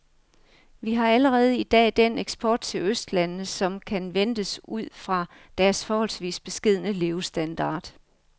Vi har allerede i dag den eksport til østlandene, som kan ventes ud fra deres forholdsvis beskedne levestandard.